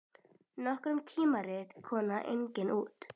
Nokkur tímarit koma einnig út.